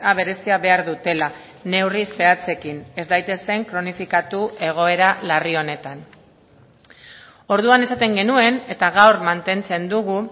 berezia behar dutela neurri zehatzekin ez daitezen kronifikatu egoera larri honetan orduan esaten genuen eta gaur mantentzen dugu